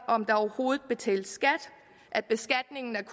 om der overhovedet betales skat at beskatningen er